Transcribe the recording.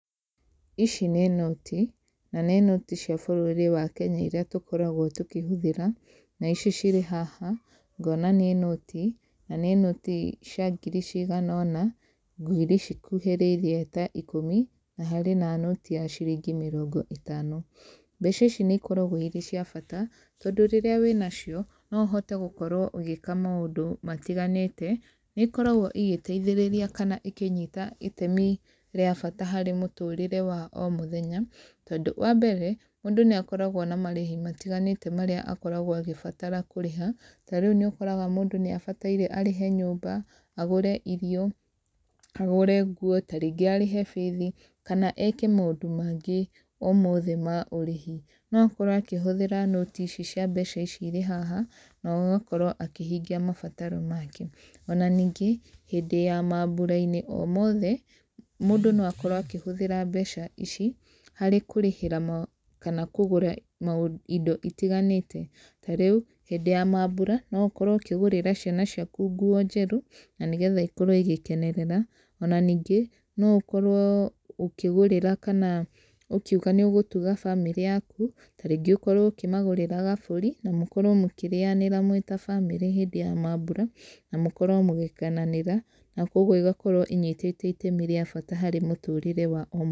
Ici nĩ noti, na nĩ noti cia bũrũri wa Kenya iria tũkoragwo tũkĩhũthĩra, na ici cirĩ haha, ngona nĩ noti, na nĩ noti cia ngiri cigana ũna, ngiri cikuhĩrĩirie ta ikũmi na harĩ na nũti ya ciringi mĩrongo ĩtano. Mbeca ici nĩ ikoragwo irĩ cia bata, tondũ rĩrĩa wĩna cio, no ũhote gũkorwo ũgĩĩka maũndũ matiganĩte. Nĩ ikoragwo igĩteithĩrĩria kana ikĩnyita itemi rĩa bata harĩ mũtũrĩre wa o mũthenya. Tondũ, wa mbere, mũndũ nĩ akoragwo na marĩhi matiganĩte marĩa akoragwo agĩbatara kũrĩha, ta rĩu nĩ ũkoraga mũndũ nĩ abataire arĩhe nyũmba, agũre irio, agũre nguo, tarĩngĩ arĩhe bithi kana eke maũndũ maingĩ o mothe ma ũrĩhi. No akorwo akĩhũthĩra nũti ici cia mbeca ici irĩ haha, na ũgakorwo akĩhingia mabataro make. Ona ningĩ, hĩndĩ ya maambura-inĩ o mothe, mũndũ no akorwo akĩhũthĩra mbeca ici, harĩ kũrĩhĩra kana kũgũra maũndũ indo itiganĩte. Ta rĩu, hĩndĩ ya maambura, no ũkorwo ũkĩgũrĩra ciana ciaku nguo njerũ, na nĩgetha ikorwo igĩkenerera. Ona ningĩ, no ũkorwo ũkĩgũrĩra kana ũkiuga nĩ ũgũtuga bamĩrĩ yaku, tarĩngĩ ũkorwo ũkĩmagũrĩra gabũri, na mũkorwo mũkĩrĩanĩra mwĩ ta bamĩrĩ hĩndĩ ya maambura, na mũkorwo mũgĩkenanĩra. Na kũguo igakorwo inyitite itemi rĩa bata harĩ mũtũrĩre wa o mũthenya.